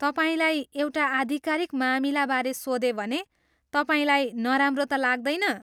तपाईँलाई एउटा आधिकारिक मामिलाबारे सोधेँ भने तपाईँलाई नराम्रो त लाग्दैन?